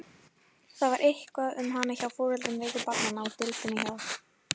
Það var eitthvað um hana hjá foreldrum veiku barnanna á deildinni hjá